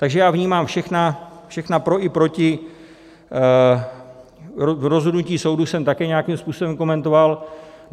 Takže já vnímám všechna pro i proti, rozhodnutí soudu jsem také nějak způsobem komentoval.